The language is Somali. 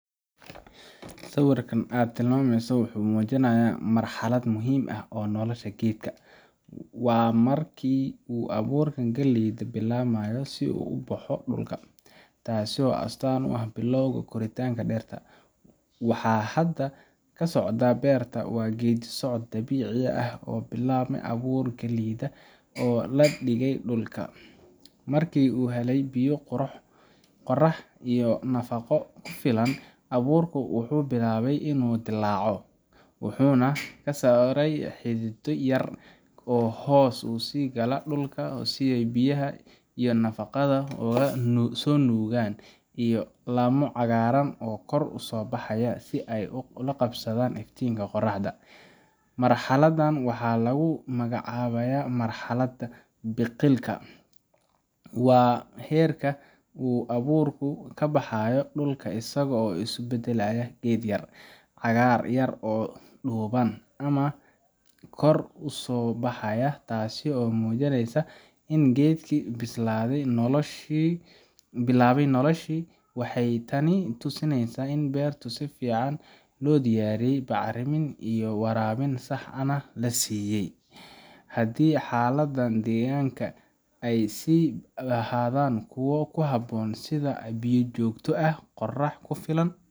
Sawirka aad tilmaantay wuxuu muujinayaa marxalad muhiim ah oo nolosha geedka ah. Waa markii uu abuurka galleyda bilaabayo inuu soo baxo dhulka, taasoo astaan u ah bilowga korriinka dhirta. Waxa hadda ka socda beerta waa geeddi socod dabiici ah oo ka bilaabma abuurka galleyda oo la dhigay dhulka. Markii uu helay biyo, qorrax iyo nafaqo ku filan, abuurku wuxuu bilaabay inuu dillaaco, wuxuuna soo saaray xididdo yar yar oo hoos u sii gala dhulka si ay biyaha iyo nafaqada uga soo nuugaan, iyo laamo cagaaran oo kor u soo baxaya si ay u qabsadaan iftiinka qoraxda. Marxaladdan waxaa lagu magacaabaa marxadda biqilka . Waa heerka uu abuurku ka baxayo dhulka isagoo isu beddelaya geed yar. Cagaar yar oo dhuuban ayaa kor u soo baxay, taasoo muujinaysa in geedkii bilaabay noloshiisii. Waxay tani tusinaysaa in beertu si fiican loo diyaariyey, bacrimin iyo waraabin sax ahna la siiyay. Haddii xaaladaha deegaanka ay sii ahaadaan kuwo ku habboon sida biyo joogto ah, qorrax ku filan